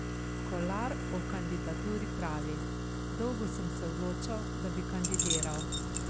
Kolar o kandidaturi pravi: "Dolgo sem se odločal, da bi kandidiral.